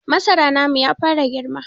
Masara namu ya fara girma.